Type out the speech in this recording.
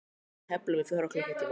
Við tefldum í fjóra klukkutíma!